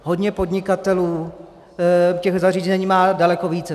Hodně podnikatelů těch zařízení má daleko více.